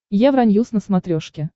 евроньюс на смотрешке